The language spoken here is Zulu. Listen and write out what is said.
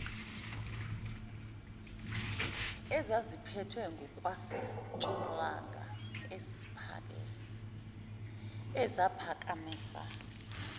ezaziphethwe ngokwasentshonalanga eziphakamisa